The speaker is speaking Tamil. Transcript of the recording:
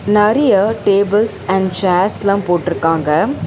நறிய டேபுள்ஸ் அண்ட் சேர்ஸ்லா போட்ருக்காங்க.